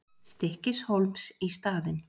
Stykkishólms í staðinn.